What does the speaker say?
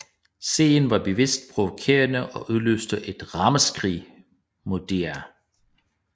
Serien var bevidst provokerende og udløste et ramaskrig mod DR